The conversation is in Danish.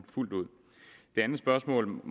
det andet spørgsmål